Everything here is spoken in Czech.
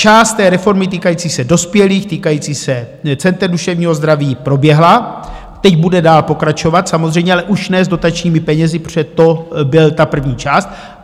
Část té reformy týkající se dospělých, týkající se center duševního zdraví, proběhla, teď bude dál pokračovat samozřejmě, ale už ne s dotačními penězi, protože to byla ta první část.